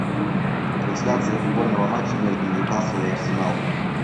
трансляция футбольного матча между ньюкасл и арсенал